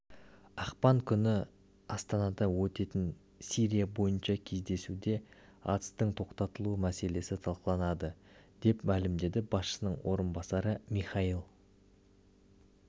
ақпан күні астанада өтетін сирия бойынша кездесуде атыстың тоқтатылуы мәселесі талқыланады деп мәлімдеді басшысының орынбасары михаил